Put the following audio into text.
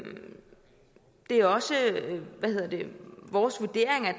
er også vores vurdering at